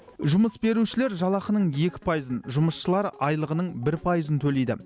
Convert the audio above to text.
жұмыс берушілер жалақының екі пайызын жұмысшылар айлығының бір пайызын төлейді